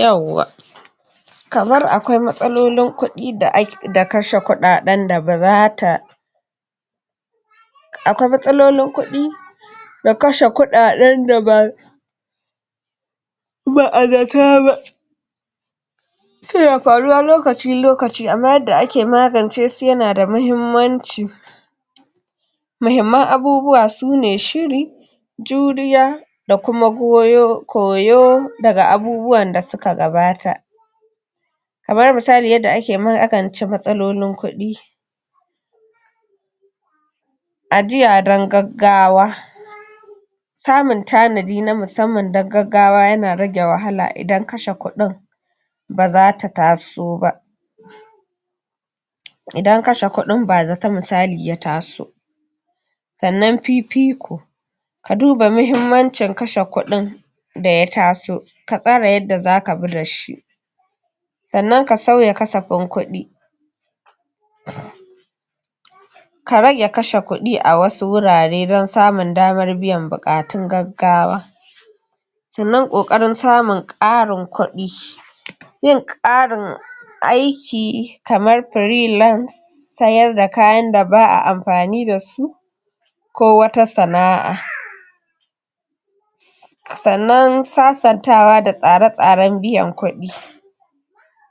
Yawwa kamar akwai matsalolin kudi da kashe kuɗaɗen da bazata akwai matsalolin kuɗi na kashe kuɗaden da ba ba a zata ba suna faruwa lokaci-lokaci amma yanda ake magance su yanada muhimmanci muhimman abubuwa su ne shiri juriya da kuma goyo, koyo daga abubuwan da suka gabata kamar misali yanda ake magance matsalolin kuɗi ajiya don gaggawa samun tanadi na musamman don gaggawa yana rage wahala idan kashe kudin bazata taso ba idan kashe kuɗin bazata misali ya taso sannan fifiko ka duba muhimmancin kashe kudin da ya taso ka tsare yanda za ka bi da shi sannan ka sauya kasafin kudi ka rage kashe kuɗi a wasu wurare don samun damar biyan buatun gaggawa sannan ƙoƙarin samun ƙarin kudi zai ƙarin aiki kamar freelance, sayar da kayan da ba'a amfani da su ko wata sana'an sannan sasantawa da tsare tsaren biyan kuɗi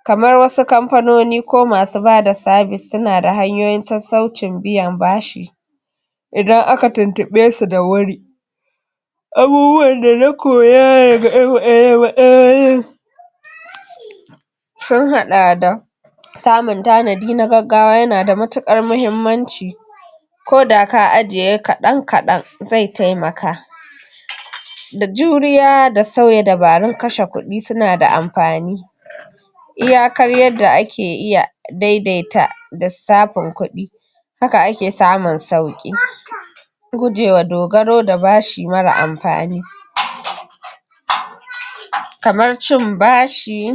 kamar wasu kamfanoni ko masu bada sabis suna da hanyoyin sassaucin biyan bashi idan aka tuntuɓe su da wuri abubuwan da na koya daga sun haɗa da samun tanadi na gaggawa yanada matukar muhimmanci ko da ka ajiye kaɗan kaɗan zai taimaka da juriya da sauye dabarun kashe kuɗi suna da amfani iyakar yanda ake iya daidaita lissafin kuɗi haka ake samun sauƙi gujewa dogaro da bashi mara amfani. Kamar cin bashi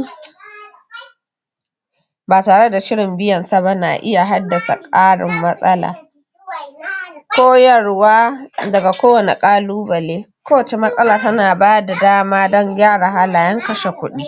ba tare da shirin biyan sa ba na iya haddasa karin matsala koyarwa daga kowanne ƙalubale ko wacce matsala tana bada dama don gane halayen kashe kuɗi.